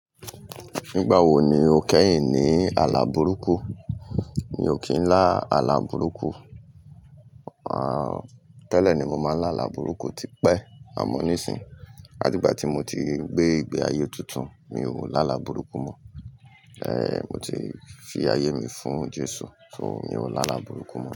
Nígbà wo ni o kẹ́yìn ní àlàburúkù? Mi ò kí ń lá àlàburúkù. Ah, tẹ́lẹ̀ ni mo máa ń lá àlàburúkù tipẹ́ àmọ́ nísìnyí, latígba tí mo ti gbé ìgbé ayé tuntun, mi ò lá àlàburúkù mọ́. Eh, mo ti fi ayé mi fún Jésù, so mi ò lá àlàburúkù mọ́